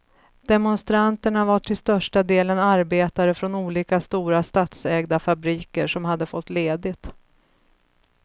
Demonstranterna var till största delen arbetare från olika stora statsägda fabriker som hade fått ledigt.